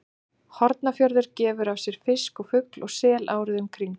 Hornafjörður gefur af sér fisk og fugl og sel árið um kring.